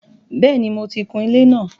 Bẹ́ẹ̀ni, mo ti kun ilé náà.